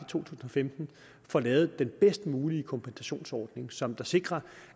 tusind og femten får lavet den bedst mulige kompensationsordning som sikrer